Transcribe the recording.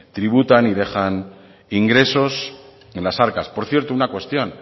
tributan y dejan ingresos en las arcas por cierto una cuestión